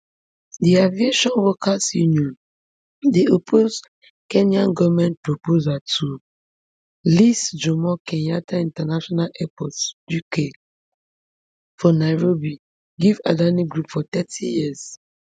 di aviation workers union dey oppose kenya goment proposal to lease jomo kenyatta international airport jkia for nairobi give adani group for thirty years